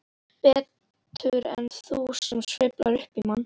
Betur en þú sem slefar upp í mann.